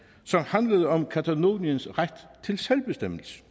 som handlede om cataloniens ret til selvbestemmelse